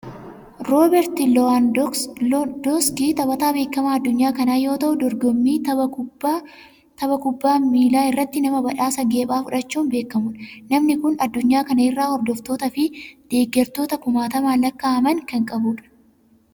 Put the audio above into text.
Rooberti Loowaandoowuski taphataa beekamaa addunyaa kanaa yoo ta'u, dorgommii tapha kubbaa miilaa irratti nama badhaasa geephaa fudhachuun beekamudha. Namni kun addunyaa kana irraa hordoftootaa fi deeggartoota kumaatamaan lakkaa'aman kan qabudha.